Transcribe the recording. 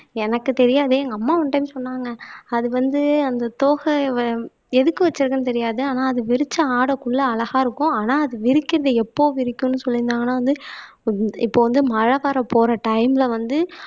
எனக்கு தெரியாது எங்க அம்மா ஒன்னு டைம் சொன்னாங்க அது வந்து அந்த தொகை வ எதுக்கு வச்சிருக்கேன்னு தெரியாது ஆனா அது விரிச்ச ஆடக்குள்ள அழகா இருக்கும் ஆனா அது விரிக்கிறது எப்போ விரிக்கும்ன்னு சொல்லியிருந்தாங்கன்னா வந்து இப்போ வந்து மழை வரப்போற டைம்ல வந்து